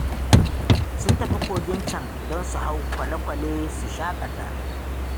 Sun tafi kogin can don su hau kwale-kwale su shaƙata